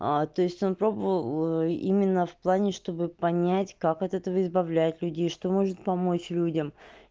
а то есть он пробовал именно в плане чтобы понять как от этого избавлять людей что может помочь людям